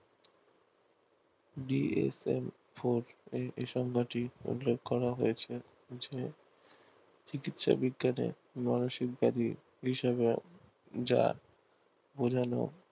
B F L four এই সঙ্গা টি উল্লেখ করা হয়েছে যে চিকিৎসা বিজ্ঞানএ মানসিক